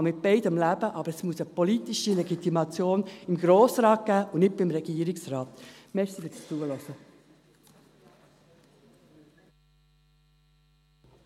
Ich kann mit beidem leben, aber es muss eine politische Legitimation seitens des Grossen Rates geben und nicht seitens des Regierungsrates.